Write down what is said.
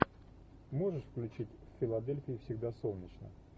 можешь включить в филадельфии всегда солнечно